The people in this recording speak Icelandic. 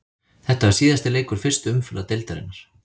Þetta var síðasti leikur fyrstu umferðar deildarinnar.